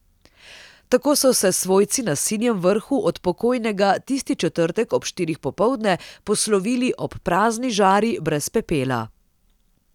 Tako so se svojci na Sinjem Vrhu od pokojnega tisti četrtek ob štirih popoldne poslovili ob prazni žari, brez pepela.